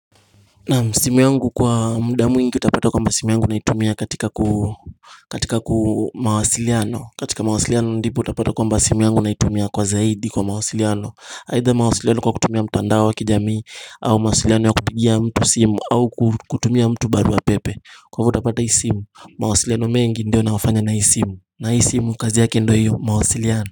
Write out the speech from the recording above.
Naam simu yangu kwa muda mwingi utapata kwamba simu yangu naitumia katika mawasiliano. Katika mawasiliano ndipo utapata kwamba simu yangu naitumia kwa zaidi kwa mawasiliano aidha mawasiliano kwa kutumia mtandao wa kijamii au mawasiliano ya kupigia mtu simu au kutumia mtu barua pepe Kwa hivyo utapata hii simu mawasiliano mengi ndio naofanya na hii simu na hii simu kazi yake ndio hiyo mawasiliano.